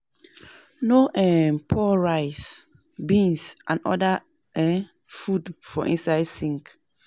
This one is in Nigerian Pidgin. No um pour rice, beans and oda um food for inside sink